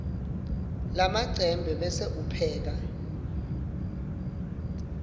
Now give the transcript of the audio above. lamacembe bese upheka